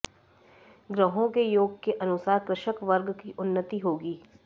ग्रहों के योग के अनुसार कृषक वर्ग की उन्नति होगी